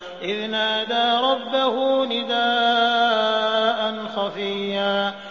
إِذْ نَادَىٰ رَبَّهُ نِدَاءً خَفِيًّا